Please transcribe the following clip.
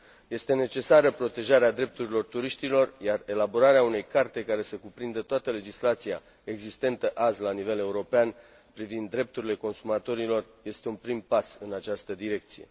Este necesară protejarea drepturilor turiștilor, iar elaborarea unei carte care să cuprindă toată legislația existentă azi la nivel european privind drepturile consumatorilor este un prim pas în această direcție.